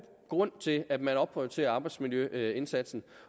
grund til at man opprioriterer arbejdsmiljøindsatsen